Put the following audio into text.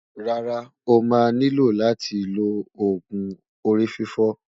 rárá, ọ̀ má ní ló láti ló ògún orí-fífọ́